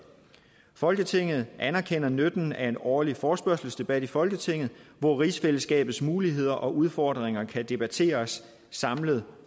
folketinget anerkender nytten af en årlig forespørgselsdebat i folketinget hvor rigsfællesskabets muligheder og udfordringer kan debatteres samlet